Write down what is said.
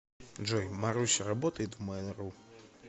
джой маруся работает в мейл ру